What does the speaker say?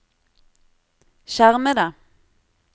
skjermede